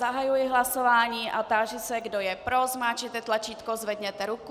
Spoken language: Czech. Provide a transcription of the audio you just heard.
Zahajuji hlasování a táži se, kdo je pro, zmáčkněte tlačítko, zvedněte ruku.